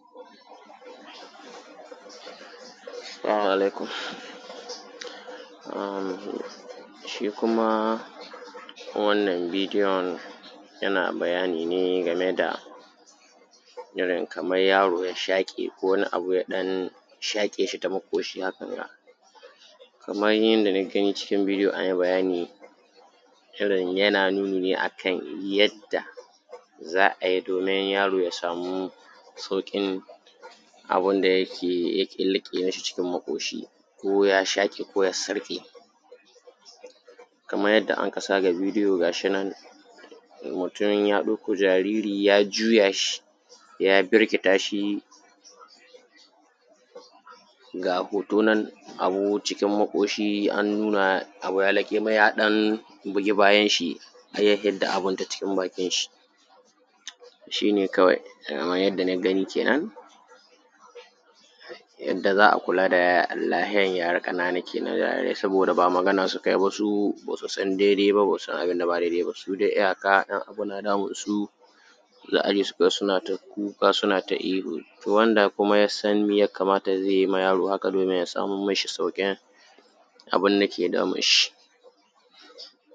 salamu alaikum shi kuma wannan bidiyon yana bayani ne game da irin kamar yaro ya shaƙe ko wani abu ya ɗan shaƙe shi ta maƙoshi hakanga kamar yadda niggani cikin bidiyo an yi bayani irin yana nuni a kan yadda za a yi domin yaro ya samu sauƙin abin da yake riƙe mashi cikin maƙoshi ko ya shaƙe ko ya sarƙe kamar yadda anka sa ga bidiyo ga shi nan mutum ya ɗauko jariri ya juya shi ya birkita shi ga hoto nan abu cikin maƙoshi an nuna abu ya laƙe mai ya ɗan bugi bayanshi har ya hidda abin ta cikin bakinshi shi ne kawai kamar yadda niggani kenan yadda za a kula da lahiyar yara ƙanana kenan saboda ba magana sukai ba su ba su san daidai ba ba su san abin da ba daidai ba su dai iyaka in abu na damunsu za: a aje: su suna ta kuka suna ta ihu to wanda kuma yassan mi ya kamata zai yi ma yaro haka domin ya samo mashi sauƙin abin da ke damunshi